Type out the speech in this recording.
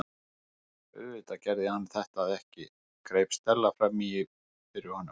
Auðvitað gerði hann þetta ekki- greip Stella fram í fyrir honum.